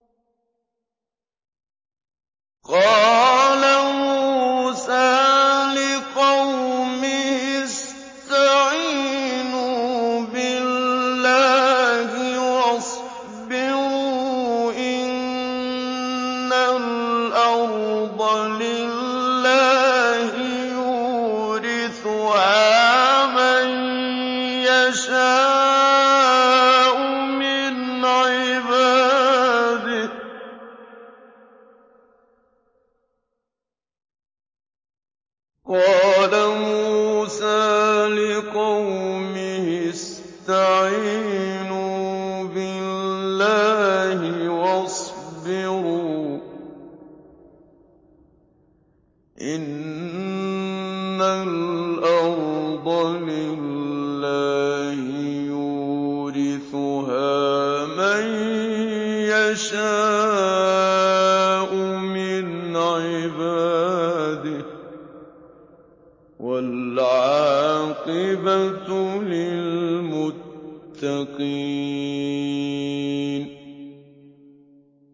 قَالَ مُوسَىٰ لِقَوْمِهِ اسْتَعِينُوا بِاللَّهِ وَاصْبِرُوا ۖ إِنَّ الْأَرْضَ لِلَّهِ يُورِثُهَا مَن يَشَاءُ مِنْ عِبَادِهِ ۖ وَالْعَاقِبَةُ لِلْمُتَّقِينَ